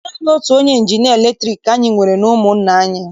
Naanị otu onye injinịa latriki ka anyị nwere n'ụmụnna anyị.